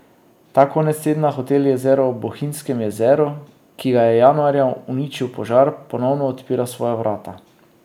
Ta konec tedna hotel Jezero ob Bohinjskem jezeru, ki ga je januarja uničil požar, ponovno odpira svoja vrata.